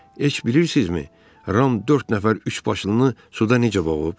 Heç bilirsinizmi Ram dörd nəfər üçbaşlını suda necə boğub?